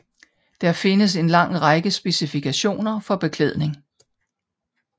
Der findes en lang række specifikationer for beklædning